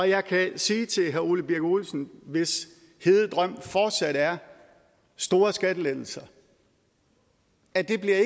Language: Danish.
jeg kan sige til herre ole birk olesen hvis hede drøm fortsat er store skattelettelser at det